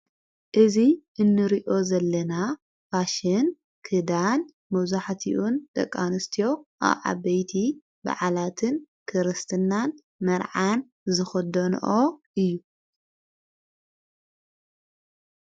እዙ እኑርኦ ዘለና ፋሽን ክዳን መዙሕቲኡን ደቃንስትዮ ኣኣበይቲ ብዕላትን ክርስትናን መርዓን ዝኸዶንኦ እዩ።